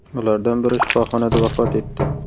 Ulardan biri shifoxonada vafot etdi.